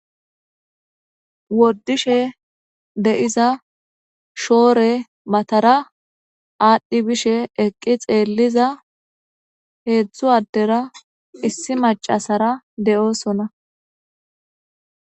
woodishe de7iza shoore mattara aadhi bishshe eqqi xelliza heezhzhu addera issi maccasara de'ossona.